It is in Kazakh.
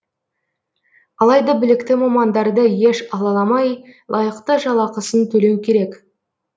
алайда білікті мамандарды еш алаламай лайықты жалақысын төлеу керек